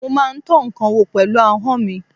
Mo má ń tọ́ ǹkan wò pẹ̀lú ahọ́n mi.